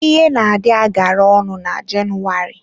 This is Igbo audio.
Ihe na-adị agara ọnụ na Jenụwarị.